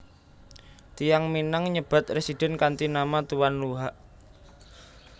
Tiyang Minang nyebat residen kanthi nama Tuan Luhak